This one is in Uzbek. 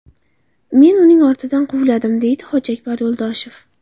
Men uning ortidan quvladim”, deydi Hojiakbar Yo‘ldoshev.